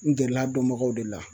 N gɛrɛl'a dɔnbagaw de la